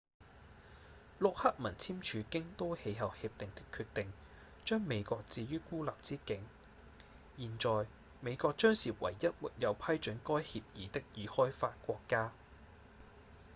陸克文簽署京都氣候協定的決定將美國置於孤立之境現在美國將是唯一沒有批准該協議的已開發國家